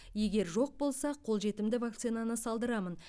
егер жоқ болса қолжетімді вакцинаны салдырамын